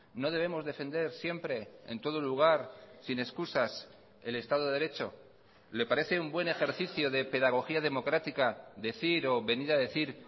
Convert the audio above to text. no debemos defender siempre en todo lugar sin excusas el estado de derecho le parece un buen ejercicio de pedagogía democrática decir o venir a decir